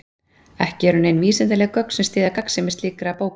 Ekki eru nein vísindaleg gögn sem styðja gagnsemi slíkra bóka.